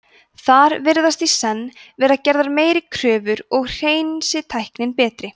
þar virðast í senn vera gerðar meiri kröfur og hreinsitæknin betri